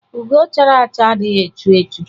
Ugo chara acha adịghị echu echu